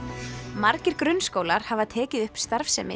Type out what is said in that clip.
margir grunnskólar hafa tekið upp starfsemi